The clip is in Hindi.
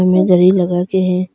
मे दरी लगा के है।